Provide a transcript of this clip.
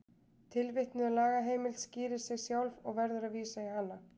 Tilvitnuð lagaheimild skýrir sig sjálf og verður að vísa í hana.